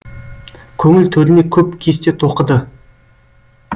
көңіл төріне көп кесте тоқыды